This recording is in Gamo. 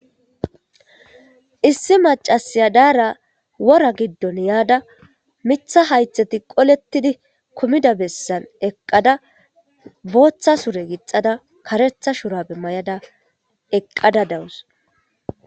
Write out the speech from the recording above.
Issi maccassi deyarra wora gidon mitha haythati qoletidi kumida bessan yada botha sure gixxada karretha shurabe mayada eqqada da'ws.